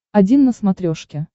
один на смотрешке